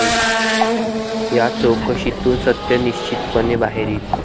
या चौकशीतून सत्य निश्चितपणे बाहेर येईल.